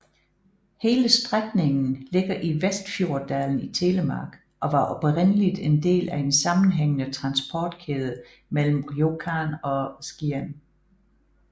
Hele strækningen ligger i Vestfjorddalen i Telemark og var oprindeligt en del af en sammenhængende transportkæde mellem Rjukan og Skien